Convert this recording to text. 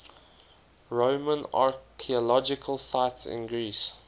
roman archaeological sites in greece